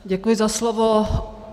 Děkuji za slovo.